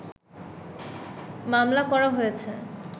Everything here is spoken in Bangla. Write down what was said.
মামলা করা হয়েছে